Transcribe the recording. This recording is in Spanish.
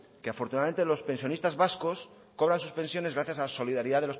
que afortunadamente los pensionistas vascos cobran sus pensiones gracias a la solidaridad